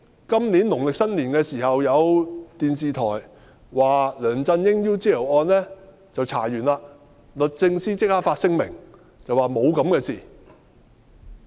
今年農曆新年期間，有電視台報道梁振英 "UGL 事件"調查完畢，律政司立即發聲明，表示沒有這回事。